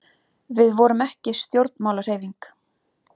við vorum ekki stjórnmálahreyfing